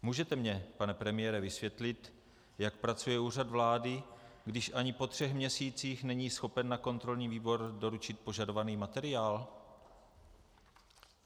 Můžete mně, pane premiére, vysvětlit, jak pracuje Úřad vlády, když ani po třech měsících není schopen na kontrolní výbor doručit požadovaný materiál?